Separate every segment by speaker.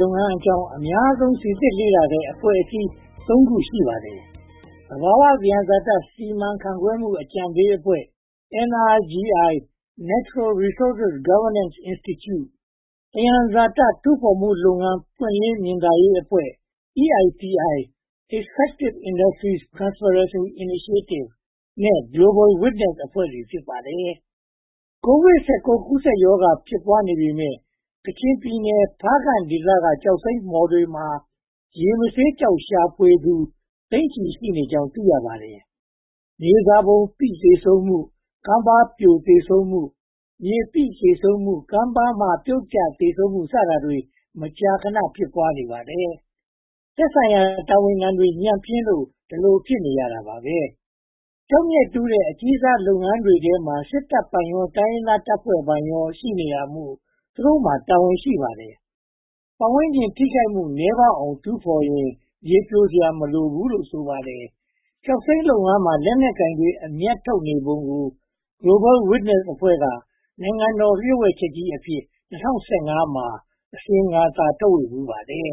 Speaker 1: လုပ်ငန်းအကြောင်း အများဆုံးစီစစ်လေ့လာတဲ့ အဖွဲ့ (၃) ဖွဲ့ ရှိပါတယ်။ သဘာဝသယံဇာတ စီမံခန့်ခွဲမှု အကြံပေးအဖွဲ့ (NRGI) Natural Resources Governance Institute
Speaker 2: ၊ သယံ
Speaker 1: ဇာတတူးဖော်မှုလုပ်ငန်း ပွင့်လင်းမြင်သာရေးအဖွဲ့ (EITI) Extractive Industries Transparancy Initiative နဲ့ Global Wintness အဖွဲ့တွေ ဖြစ်ပါတယ်။ ကိုဗစ် (၁၉) ကူးစက်ရောဂါ ဖြစ်ပွားနေပေမယ့် ကချင်ပြည်နယ် ဖားကန့်ဒေသ ကျောက်စိမ်းမှော်တွေမှာ ရေမဆေးကျောက် ရှာဖွေသူ သိန်းနဲ့ချီရှိနေကြောင်း သိရပါတယ်။ မြေစာပုံပိ သေဆုံးမှု၊ ကမ်းပါးပြိုသေဆုံးမှု၊ မြေပိသေဆုံးမှု၊ ကမ်းပါးမှပြုတ်ကျသေဆုံးမှု စတာတွေ မကြာခဏ ဖြစ်ပွားနေပါတယ်။ သက်ဆိုင်ရာတာဝန်ခံတွေ ညံ့ဖျင်းလို ဒီလိုဖြစ်ရတာပါပဲ။ ကျောက်မျက်တူးတဲ့ အကြီးစားလုပ်ငန်းတွေထဲမှာ စစ်တပ်ပိုင်ရော၊ တိုင်းရင်းသားတပ်ဖွဲ့တွေပိုင်ရော ရှိနေတာမို့ သူတို့မှာ တာဝန်ရှိပါတယ်။ ပတ်ဝန်းကျင် ထိခိုက်မှုနည်းပါးအောင် တူးဖော်ရင် မြေပြိုစရာ မလိုဘူးလို့ ဆိုပါတယ်။ ကျောက်စိမ်းလုပ်ငန်းမှာ လက်နက်ကိုင်တွေ အမြတ်ထုတ်နေပုံကို Global Witness အဖွဲ့က နိုင်ငံတော်လျှို့ဝှက်ချက်ကြီးအဖြစ် ၂၀၁၅ မှာ အစီရင်ခံစာ ထုတ်ဝေဖူးပါတယ်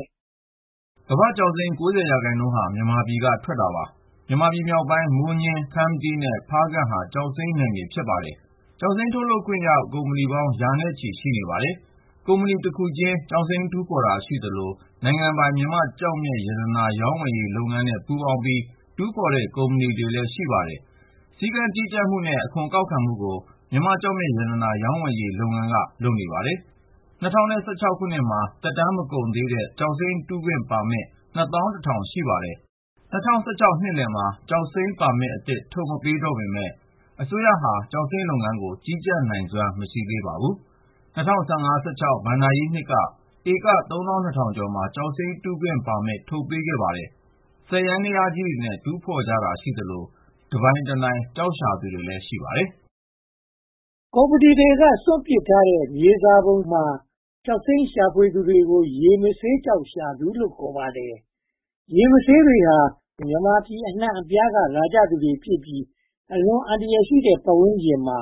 Speaker 2: ။ ကမ္ဘာ့ကျောက်စိမ်း (၉၀) ရာခိုင်နှုန်းဟာ မြန်မာပြည်က ထွက်တာပါ။ မြန်မာပြည်မြောက်ပိုင်း မိုးညှင်း၊ ခမ္မတီး နဲ့ ဖးကန့်ဟာ ကျောက်စိမ်းမြေ ဖြစ်ပါတယ်။ ကျောက်စိမ်းထုတ်ခွင့်ရ ကုမ္ပဏီပေါင်း ရာနဲ့ချီ ရှိနေပါတယ်။ ကုမ္ပဏီတခုချင်း ကျောက်စိမ်းတူးဖော်တာ ရှိသလို၊ နိုင်ငံပိုင် မြန်မာ့ကျောက်မျက်ရတနာ ရောင်းဝယ်ရေးလုပ်ငန်းနဲ့ ပူးပေါင်းပြီး တူးဖော်တဲ့ကုမ္ပဏီလည်း ရှိပါတယ်။ စည်းကမ်းကြီးကြပ်မှုနဲ့ အခွန်ကောက်ခံမှုကို မြန်မာ့ကျောက်မျက်ရတနာ ရောင်းဝယ်ရေးလုပ်ငန်းက လုပ်ပါတယ်။ ၂၀၁၆ မှာ သက်တမ်းမကုန်သေးတဲ့ ကျောက်စိမ်းတူးခွင့်ပါမစ် (၂၁၀၀၀) ရှိပါတယ်။ ၂၀၁၆ နှစ်လယ်မှာ ကျောက်စိမ်းပါမစ်အသစ် ထုတ်မပေးတော့ပေမယ့် အစိုးရဟာ ကျောက်စိမ်းလုပ်ငန်းကို ကြီးကြပ်နိုင်စွမ်း မရှိသေးပါ။ ၂၀၁၅-၁၆ ဘဏ္ဍာရေးနှစ်က ဧက (၃၂၀၀၀) ကျော်မှာ ကျောက်စိမ်းတူးခွင့်ပါမစ် ထုတ်ပေးခဲ့ပါတယ်။ စက်ယန္တယားကြီးတွေနဲ့ တူးဖော်ကြတာရှိသလို တနိုင်တပိုင် ကျောက်ရှာသူတွေလည်း ရှိပါတယ်
Speaker 1: ။ ကုမ္ပဏီတွေက စွန့်ပစ်ထားတဲ့ မြေစာပုံမှာ ကျောက်စိမ်းရှာဖွေသူကို ရေမဆေးကျောက်ရှာသူလို့ ခေါ်ပါတယ်။ ရေမဆေးတွေဟာ မြန်မာပြည် အနံှ့အပြားက လာကြသူတွေဖြစ်ပြီး အလွန်အန္တရာယ်ရှိတဲ့ ပတ်ဝန်းကျင်မှာ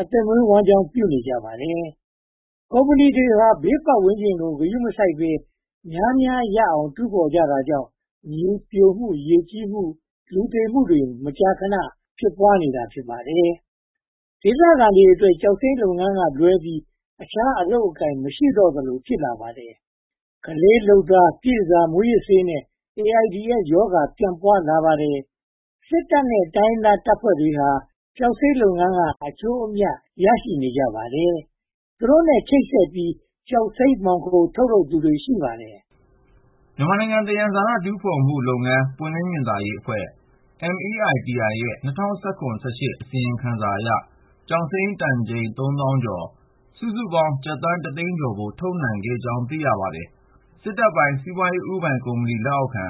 Speaker 1: အသက်မွေးဝမ်းကျောင်းပြုနေကြပါတယ်။ ကုမ္ပဏီတွေဟာ ဘေးပတ်ဝန်းကျင်ကို ဂရုမစိုက်ဘဲ များများရအောင် တူးဖော်ကြတာကြောင့် မြေပြိုမှု၊ ရေကြီးမှု၊ လူသေမှုတွေ မကြာခဏ ဖြစ်ပွားနေတာ ဖြစ်ပါတယ်။ ဒေသခံတွေအတွက် ကျောက်စိမ်းလုပ်ငန်းကလွဲပြီး အခြားအလုပ်အကိုင် မရှိတော့သလို ဖြစ်လာပါတယ်။ ကလေးလုပ်သား၊ ပြည့်တန်ဆာ၊ မူးယစ်ဆေးနဲ့ AIDS ရောဂါပြန့်ပွားလာပါတယ်။ စစ်တပ်နဲ့ တိုင်းရင်းသားတပ်ဖွဲ့တွေဟာ ကျောက်စိမ်းလုပ်ငန်းက အကျိုးအမြတ် ရရှိနေကြပါတယ်။ သူတို့နဲ့ ချိတ်ဆက်ပြီး ကျောက်စိမ်းမှောင်ခို ထုတ်ယူတာတွေ ရှိပါတယ်
Speaker 2: ။ မြန်မာ့နိုင်ငံသယံဇာတ တူးဖော်မှုလုပ်ငန်း ပွင့်လင်းမြင်သာရေးအဖွဲ့ (MEITI) ရဲ့ ၂၀၁၇-၁၈ အစီရင်ခံစာအရ ကျောက်စိမ်းတန်ချိန် သုံးသောင်းကျော် စုစုပေါင်း ကျပ်သန်းတသန်းကျော်ဖိုး ထုတ်ယူနိုင်ခဲ့ကြောင်း သိရပါတယ်။ စစ်တပ်ပိုင် စီးပွားရေးဦးပိုင် ကုမ္ပဏီလက်အောက်ခံ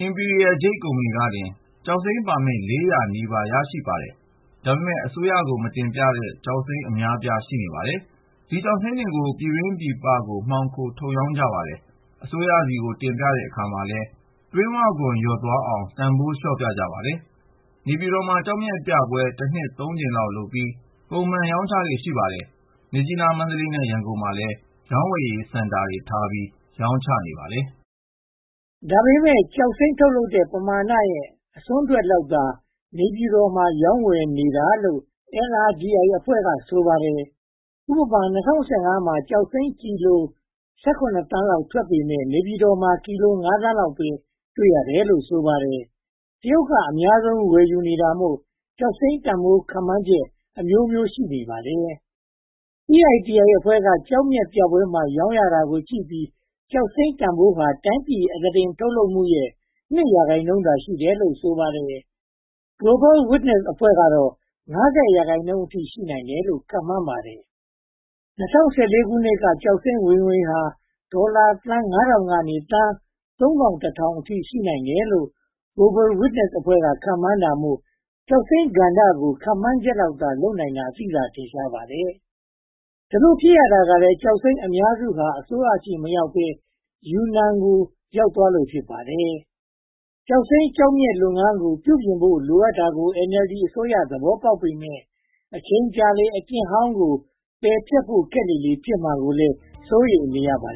Speaker 2: အင်ပီရီးရယ် Imperial Jade ကုမ္ပဏီကတင် ကျောက်စိမ်းပါပစ် (၃၉၇) ခု ရရှိထားပါတယ်။ ဒါပေမဲ့ အစိုးရကို မတင်ပြတဲ့ ကျောက်စိမ်းအများအပြား ရှိနေပါတယ်။ ဒီကျောက်စိမ်းတွေကို ပြည်တွင်းပြည်ပကို မှောင်ခိုထုတ်ရောင်းကြပါတယ်။ အစိုးရဆီကို တင်ပြတဲ့အခါမှာလည်း တွင်းဝခွန်လျော့သွားအောင် တန်းဖိုးလျှော့ပြကြပါတယ်။ နေပြည်တော်မှာ ကျောက်မျက်ပြပွဲ တနှစ်သုံးကြိမ်လုပ်ပြီး ပုံမှန်ရောင်းချလေ့ ရှိပါတယ်။ မြစ်ကြီးနား၊ မန္တလေး နဲ့ ရန်ကုန်မှာလည်း ရောင်းဝယ်ရေး စင်တာတွေထားပြီး ရောင်းချပါတယ်
Speaker 1: ။ ဒါပေမဲ့ ကျောက်စိမ်းထုတ်လုပ်တဲ့ ပမာနရဲ့ အစွန်းထွက်လောက်သာ နေပြည်တော်မှာ ရောင်းဝယ်နေတာလို့ NRGI အဖွဲ့က ဆိုပါတယ်။ ဥပမာ ၂၀၁၅ မှာ ကျောက်စိမ်းကီလို (၁၇) သန်းလောက် ထွက်ပေမယ့် နေပြည်တော်မှာ ကီလို (၅) သန်းလောက်ပဲ တွေ့ရတယ်လို့ ဆိုပါတယ်။ တရုတ်က အများဆုံး ဝယ်ယူနေတာမို့ ကျောက်စိမ်းတန်းဖိုး ခန့်မှန်းချက်အမျိုးမျိုး ဖြစ်နေပါတယ်။ EITI အဖွဲ့က ကျောက်မျက်ပြပွဲမှာ ရောင်းရတာကိုကြည့်ပြီး ကျောက်စိမ်းတန်းဖိုးဟာ တိုင်းပြည်အသားတင် ထုတ်လုပ်မှုရဲ့ (၂) ရာခိုင်နှုန်း ရှိတယ်လို့ ဆိုပါတယ်။ Global Witness ကတော့ (၅၀) ရာခိုင်နှုန်းအထိ ရှိနိုင်တယ်လို့ ခန့်မှန်းပါတယ်။ ၂၀၁၄ ခုနှစ်က ကျောက်စိမ်းဝင်ငွေဟာ ဒေါ်လာသန်း (၅၀၀၀) က သန်း (၃၁၀၀၀) အထိ ရှိနိုင်တယ်လို့ Global Witness က ခန့်မှန်းတာမို့ ကျောက်စိမ်းကဏ္ဍကို ခန့်မှန်းချက်လောက်သာ လုပ်နိုင်တာ သိသာထင်ရှားပါတယ်။ ဒီလိုဖြစ်ရတာကလည်း ကျောက်စိမ်းအများစုဟာ အစိုးရဆီမရောက်ဘဲ ယူနန်ကို ရောက်သွားသလို ဖြစ်ပါတယ်။ ကျောက်စိမ်းကျောက်မျက်လုပ်ငန်းကို ပြုပြင်ဖို့ လိုအပ်တာကို NLD အစိုးရ သဘောပေါက်ပေမယ့် အချိန်ကြာလေလေ အကျင့်ဟောင်းကို ပယ်ဖျက်ဖို့ခက်လေလေ ဖြစ်မှာကိုလည်း စိုးရိမ်နေကြပါ